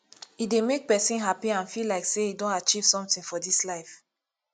e dey make persin happy and feel like say e don achieve something for this life